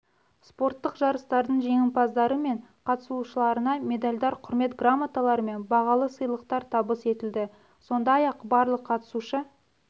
спорттық жарыстардың жеңімпаздары мен қатысушыларына медальдар құрмет грамоталары мен бағалы сыйлықтар табыс етілді сондай-ақ барлық қатысушы